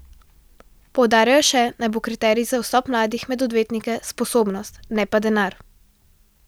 Poudarjajo še, naj bo kriterij za vstop mladih med odvetnike sposobnost, ne pa denar.